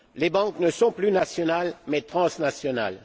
Les banques ne sont plus nationales, mais transnationales.